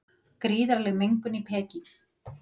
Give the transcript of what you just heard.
Gríðarleg mengun í Peking